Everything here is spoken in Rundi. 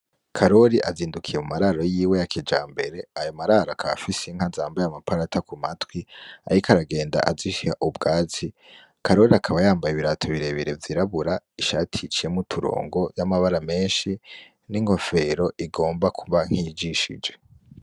Kaloli azindukiye mu mararo yiwe yakija mbere ayamararo aka fise inka nzamba y'amaparata ku matwi ahiko aragenda azishya ubwazi kaloli akaba yambaye ibirato birebire vyirabura ishaticiyemouturongo y'amabara menshi n'ingofero igomba kuva nkijishije.